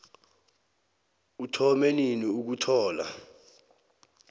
uthome nini ukuthola